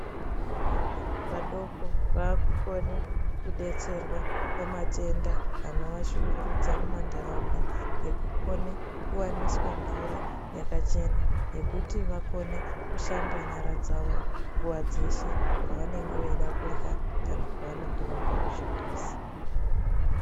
Vana vadoko vakukone kudetserwa pamatenda anovashungurudza mumanharaunda yekukone kuwaniswa mvura yakachena yekuti vakone kushamba nyara dzawo nguwa dzeshe pavanenge veida kurya kana pavanenge vabva kuchimbuzi.